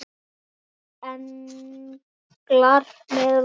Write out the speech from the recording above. Eru englar með vængi?